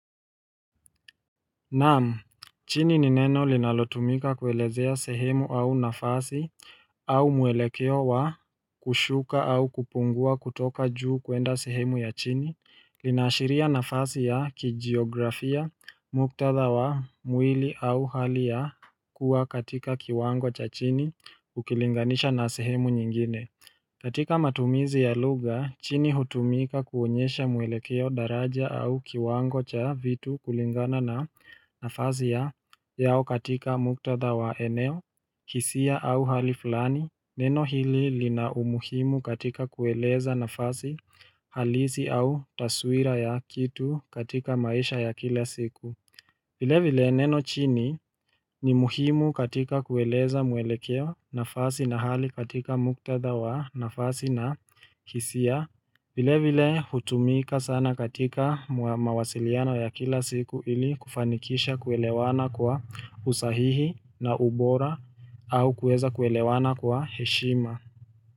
Naam, chini ni neno linalotumika kuelezea sehemu au nafasi au mwelekeo wa kushuka au kupungua kutoka juu kuenda sehemu ya chini Linaashiria nafasi ya kijiografia muktadha wa mwili au hali ya kuwa katika kiwango cha chini ukilinganisha na sehemu nyingine katika matumizi ya luga, chini hutumika kuonyesha muelekeo daraja au kiwango cha vitu kulingana na nafazi ya yao katika muktatha wa eneo, hisia au hali fulani, neno hili li na umuhimu katika kueleza nafazi halisi au taswira ya kitu katika maisha ya kila siku. Vile vile neno chini ni muhimu katika kueleza mwelekeo nafasi na hali katika muktada wa nafasi na hisia. Vile vile hutumika sana katika mawasiliano ya kila siku ili kufanikisha kuelewana kwa usahihi na ubora au kueza kuelewana kwa heshima.